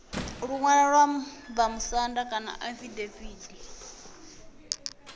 luṅwalo lwa vhamusanda kana afidaviti